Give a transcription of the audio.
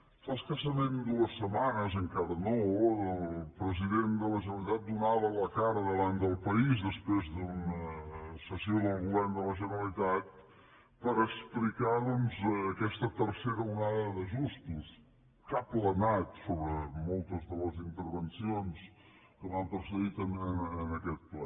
fa escassament dues setmanes encara no el president de la generalitat donava la cara davant del país després d’una sessió del govern de la generalitat per explicar aquesta tercera ondada d’ajustos que ha planat sobre moltes de les intervencions que m’han precedit en aquest ple